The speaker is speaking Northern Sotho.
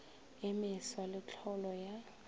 e meswa le tlholo ya